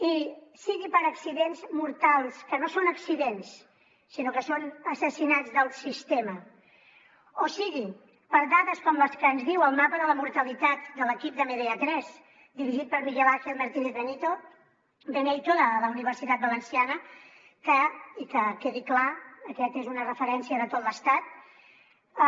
i sigui per accidents mortals que no són accidents sinó que són assassinats del sistema o sigui per dades com les que ens diu el mapa de la mortalitat de l’equip de medea tres dirigit pel miguel ángel martínez beneito de la universitat de valència i que quedi clar aquest és una referència de tot l’estat